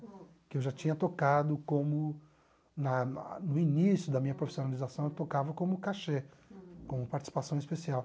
Que eu já tinha tocado como, na no início da minha profissionalização, eu tocava como cachê, como participação especial.